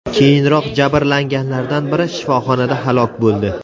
Keyinroq jabrlanganlardan biri shifoxonada halok bo‘ldi.